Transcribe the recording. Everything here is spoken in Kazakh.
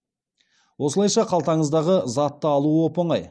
осылайша қалтаңыздағы затты алу оп оңай